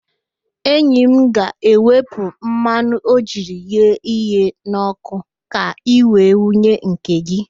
Enyi m ga-ewepụ mmanụ o jiri ghee ihe n'ọkụ ka i wee wunye nke gị